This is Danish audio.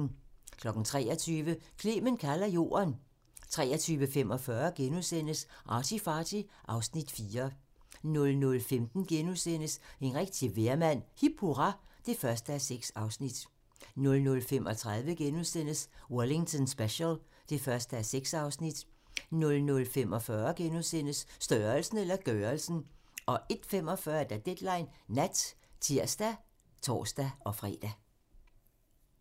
23:00: Clement kalder jorden 23:45: ArtyFarty (Afs. 4)* 00:15: En rigtig vejrmand - Hip hurra (1:6)* 00:35: Wellington Special (1:6)* 00:45: Størrelsen eller gørelsen? * 01:45: Deadline Nat (tir og tor-fre)